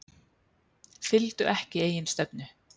Fylgdu ekki eigin stefnu